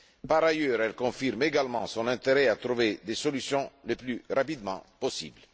Par ailleurs, elle confirme également son intérêt à trouver des solutions le plus rapidement possible.